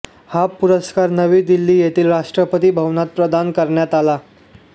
हा पुरस्कार नवी दिल्ली येथील राष्ट्रपती भवनात प्रदान करण्यात आला